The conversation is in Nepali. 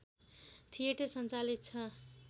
थिएटर सञ्चालित छ